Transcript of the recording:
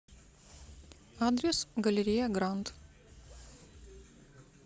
адрес галерея гранд